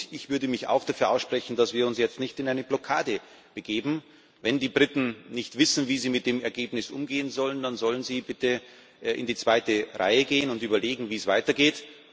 Ich würde mich auch dafür aussprechen, dass wir uns jetzt nicht in eine Blockade begeben. Wenn die Briten nicht wissen, wie sie mit dem Ergebnis umgehen sollen, dann sollen sie bitte in die zweite Reihe gehen und überlegen, wie es weitergeht.